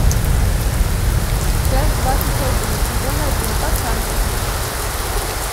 часть двадцать один сезон один пацанки